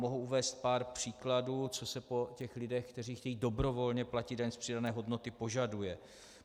Mohu uvést pár příkladů, co se po těch lidech, kteří chtějí dobrovolně platit daň z přidané hodnoty, požaduje.